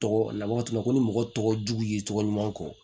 Tɔgɔ labato ko ni mɔgɔ tɔgɔ jugu y'i tɔgɔ ɲuman fɔ